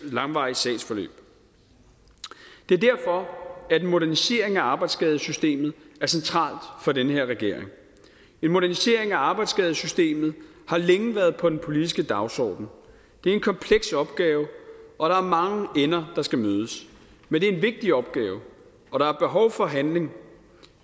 langvarige sagsforløb det er derfor at en modernisering af arbejdsskadesystemet er centralt for den her regering en modernisering af arbejdsskadesystemet har længe været på den politiske dagsorden det er en kompleks opgave og der er mange ender der skal mødes men det er en vigtig opgave og der er behov for handling